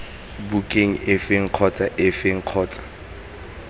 bukeng efe kgotsa efe kgotsa